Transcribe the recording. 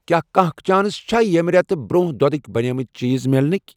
کیٛاہ کانٛہہ چانس چھےٚ ییٚمہِ رٮ۪تہٕ برٛونٛہہ دۄدٕکۍ بَنیمٕتۍ چیٖز میلنٕکۍ۔